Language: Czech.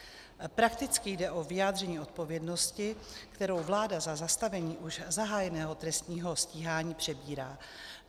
Prakticky jde o vyjádření odpovědnosti, kterou vláda za zastavení už zahájeného trestního stíhání přebírá.